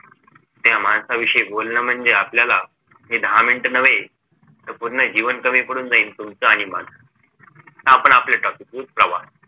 त्या माणसाविषयी बोलणं म्हणजे आपल्याला हे दहा मिनटं नव्हे तर पूर्ण जीवन कमी पडून जाईल तुमचं आणि माझं आपण आपलं topic वर प्रवास